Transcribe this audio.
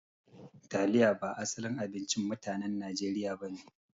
Taliya ba asalin abincin mutanen Nijeriya ba ne.